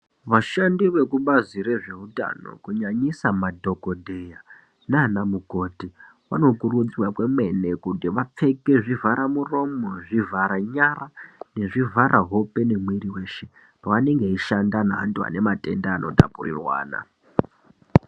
Vashandi vekubazi rezveutano kunyanyisa madhogodheya naana mukoti vanokurudzirwa kwemene kuti vapfeke zvivhara muromo, zvivhara nyara nezvivhara hope nemwiiri weshe pavanenge veishanda nevantu vanematenda anotapurirwana.